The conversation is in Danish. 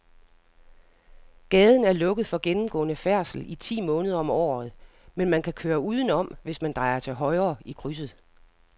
Gaden er lukket for gennemgående færdsel ti måneder om året, men man kan køre udenom, hvis man drejer til højre i krydset.